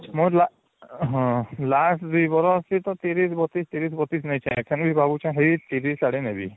ହଁ last ଦୁଇ ବରଷ ତ ୩୦ ୩୨ ୩୦ ୩୨ ନଉଛନ୍ତି ୩୦ ଆଡେ ନେବି